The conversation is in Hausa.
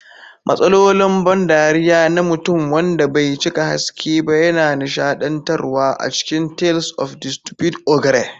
Matsalolin ban dariya na mutum wanda bai cika haske ba yana nishadantarwa a cikin Tales of the Stupid Ogre.